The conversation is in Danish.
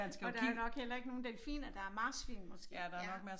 Og der er jo nok heller ikke nogen delfiner der er marsvin måske ja